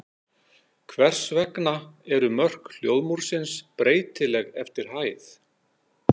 Hvers vegna eru mörk hljóðmúrsins breytileg eftir hæð?